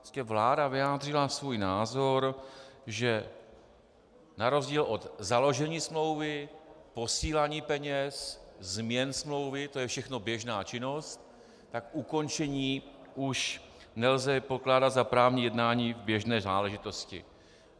Prostě vláda vyjádřila svůj názor, že na rozdíl od založení smlouvy, posílání peněz, změn smlouvy, to je všechno běžná činnost, tak ukončení už nelze pokládat za právní jednání v běžné záležitosti.